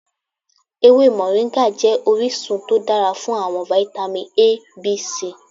Ewe Moringa jẹ orisun to dara fun awọn vitamin A, B, C